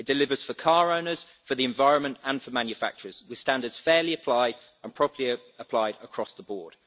It delivers for car owners, for the environment and for manufacturers, with standards fairly applied and appropriately applied across the board.